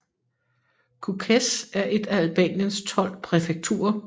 Kukës er et af Albaniens tolv præfekturer